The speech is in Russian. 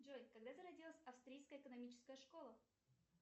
джой когда зародилась австрийская экономическая школа